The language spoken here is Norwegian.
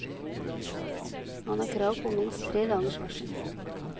Man har krav på minst tre dagers varsel.